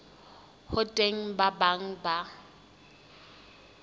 ho teng ba bang ba